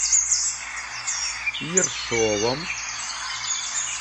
ершовом